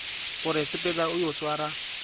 gore sepela o yo swara